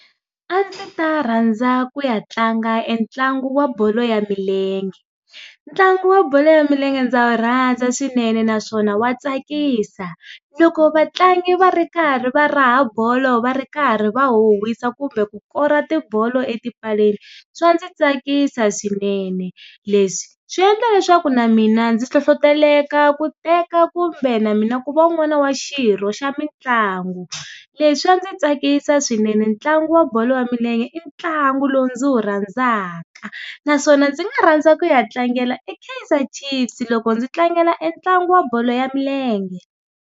A ndzi ta rhandza ku ya tlanga entlangu wa bolo ya milenge. Ntlangu wa bolo ya milenge ndza wu rhandza swinene naswona wa tsakisa. Loko vatlangi va ri karhi va raha bolo va ri karhi va huhwisa kumbe ku kora ti bolo etipaleni, swa ndzi tsakisa swinene. Leswi, swi endla leswaku na mina ndzi nhlohloteleka ku teka kumbe na mina ku va un'wana wa xirho xa mitlangu. Leswi swa ndzi tsakisa swinene ntlangu wa bolo ya milenge i ntlangu lowu ndzi wu rhandzaka naswona ndzi nga rhandza ku ya tlangela eKaizer chiefs loko ndzi tlangela entlangu wa bolo ya milenge.